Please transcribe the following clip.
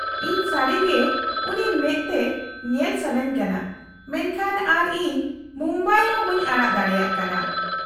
-ᱤᱧ ᱥᱟᱹᱨᱤ ᱜᱮ ᱩᱱᱤ ᱢᱮᱫ ᱛᱮ ᱧᱮᱞ ᱥᱟᱹᱱᱟᱹᱧ ᱠᱟᱱᱟ , ᱢᱮᱱᱠᱷᱟᱱ ᱟᱨᱚ ᱤᱧ ᱢᱩᱢᱵᱟᱭ ᱦᱚᱸ ᱵᱟᱹᱧ ᱟᱲᱟᱜ ᱫᱟᱲᱮᱭᱟᱜ ᱠᱟᱱᱟ ᱾